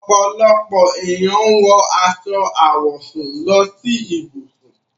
Ọ́pọlọpọ̀ ènìyàn wọ aṣọ àwọ̀sún lọ sí íbùṣùn.